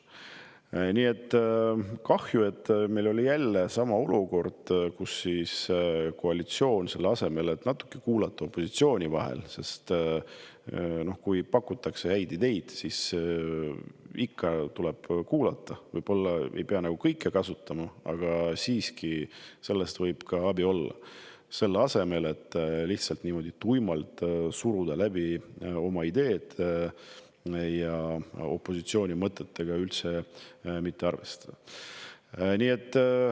Nii et kahju, et meil oli jälle selline olukord, kus koalitsioon, selle asemel et opositsiooni vahel natukene kuulata – kui pakutakse häid ideid, siis tuleb ikka kuulata, võib-olla ei pea kõike kasutama, aga sellest võib siiski abi olla –, lihtsalt surus tuimalt oma ideed läbi ja opositsiooni mõtetega üldse ei arvestanud.